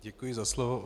Děkuji za slovo.